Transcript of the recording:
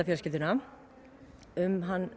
fjölskylduna um hann